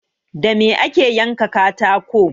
Da me ake yanka katako?